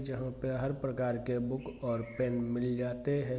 जहाँ पे हरेक प्रकार के बुक और पेन मिल जाते हैं।